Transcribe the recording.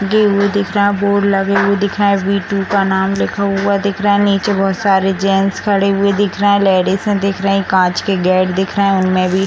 दी हुई दिख रहे हैं बोर्ड लगे हुए दिख रहे हैं वी टू का नाम लिखा हुआ दिख रहे हैं नीचे बहुत सारे जेंट्स खड़े हुए दिख रहे हैं लेडिजें दिख रही हैं कांच के गेट दिख रहे हैं उनमें भी --